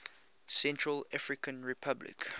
central african republic